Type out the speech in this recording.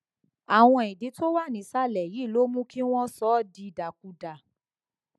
àwọn ìdí tó wà nísàlẹ yìí ló mú kí wọn sọ ọ dìdàkudà